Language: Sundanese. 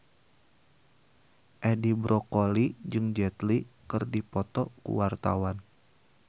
Edi Brokoli jeung Jet Li keur dipoto ku wartawan